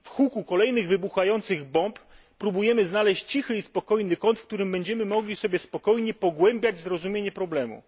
W huku kolejnych wybuchających bomb próbujemy znaleźć cichy i spokojny kąt, w którym będziemy mogli sobie spokojnie pogłębiać zrozumienie problemu.